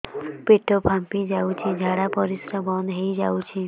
ପେଟ ଫାମ୍ପି ଯାଉଛି ଝାଡା ପରିଶ୍ରା ବନ୍ଦ ହେଇ ଯାଉଛି